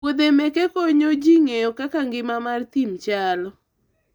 wuodhe meke konyo ji ng'eyo kaka ngima mar thim chalo